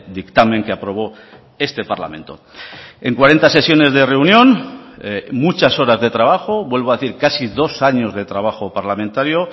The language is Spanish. dictamen que aprobó este parlamento en cuarenta sesiones de reunión muchas horas de trabajo vuelvo a decir casi dos años de trabajo parlamentario